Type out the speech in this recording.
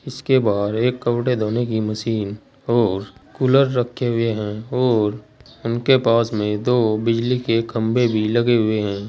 इसके बाहर एक कपड़े धोने की मशीन और कूलर रखे हुए हैं और उनके पास में दो बिजली के खंभे भी लगे हुए हैं।